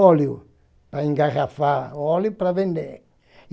Óleo para engarrafar, óleo para vender.